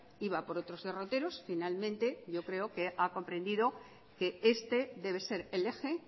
iba por otros derroteros finalmente yo creo que ha comprendido que este debe ser el eje